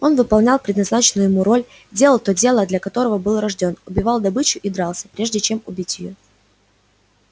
он выполнял предназначенную ему роль делал то дело для которого был рождён убивал добычу и дрался прежде чем убить её